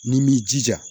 Ni m'i jija